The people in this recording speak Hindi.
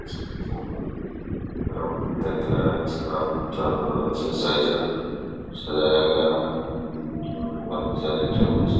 इस दृश्य मे ग्राउंड दिखाई दे रहा है इस ग्राउंड को चारो तरफ से सजाया गया है। बीच में काफी सारे टेबल्स --